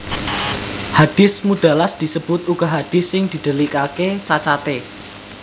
Hadis Mudallas disebut uga hadis sing didhelikaké cacaté